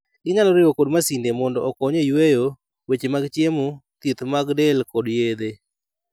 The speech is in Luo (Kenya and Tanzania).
Ginyalo riwo kod masinde mondo okony e yueyo, weche mag chiemo, thieth mag del kod yedhe.